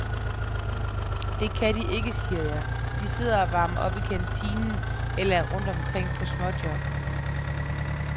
Det kan de ikke, siger jeg, de sidder og varmer op i kantinen eller er rundt omkring på småjob.